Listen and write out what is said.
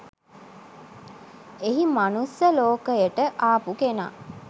එහි මනුස්ස ලෝකයට ආපු කෙනා